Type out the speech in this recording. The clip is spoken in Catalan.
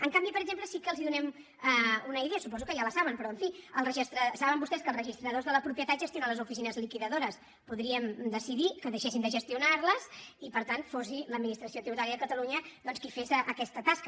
en canvi per exemple sí que els donem una idea suposo que ja la saben però en fi saben vostès que els registradors de la propietat gestionen les oficines liquidadores podríem decidir que deixessin de gestionar les i per tant fos l’administració tributària de catalunya doncs qui fes aquesta tasca